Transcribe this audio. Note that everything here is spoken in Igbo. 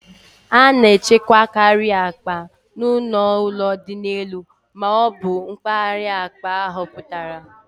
A na-echekwakarị akpa n'ọnụ ụlọ dị n'elu ma ọ bụ mpaghara akpa ahapụtara.